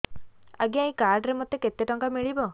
ଆଜ୍ଞା ଏଇ କାର୍ଡ ରେ ମୋତେ କେତେ ଟଙ୍କା ମିଳିବ